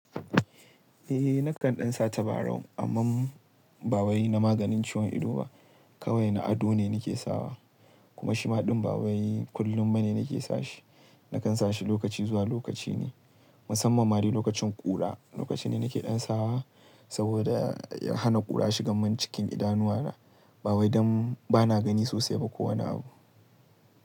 Eh nakan ɗan sa tabarau, amma bawai na maganin ciwon ido ba, kawai na ado ne nake sawa. Kuma shi ma ɗin bawai kullum bane nake sashi. Nakan sashi lokaci zuwa lokaci ne, musamman ma lokacin ƙura lokaci ne nake ɗan sawa saboda ya hana ƙura shigan mun cikin idanuwa. Bawai dan bana gani sosai ba kowane abu.